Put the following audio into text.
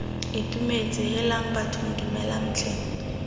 itumetse heelang bathong dumelang tlhe